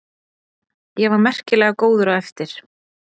Ég var merkilega góður á eftir.